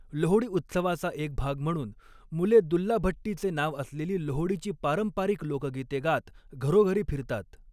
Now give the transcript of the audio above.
लोहडी उत्सवाचा एक भाग म्हणून, मुले 'दुल्ला भट्टी'चे नाव असलेली लोहडीची पारंपारिक लोकगीते गात घरोघरी फिरतात.